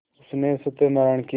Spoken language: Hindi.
उसने सत्यनाराण की